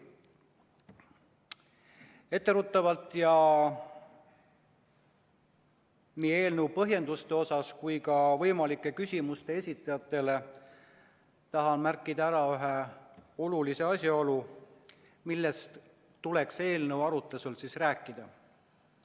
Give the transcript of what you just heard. Etteruttavalt nii eelnõu põhjenduste osas kui ka küsimuste esitajatele tahan märkida ära ühe olulise asjaolu, millest tuleks eelnõu arutamisel rääkida.